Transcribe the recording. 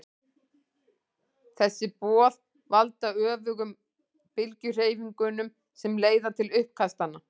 Þessi boð valda öfugum bylgjuhreyfingunum sem leiða til uppkastanna.